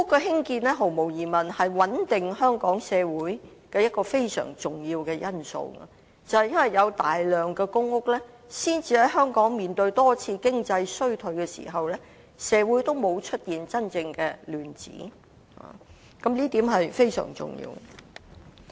興建公屋毫無疑問是穩定香港社會的一個非常重要的因素，正正是因為有大量公屋，才能讓香港在面對多次經濟衰退時，社會也沒有出現真正的亂子，這一點非常重要。